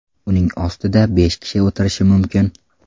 Uning ostida besh kishi o‘tirishi mumkin.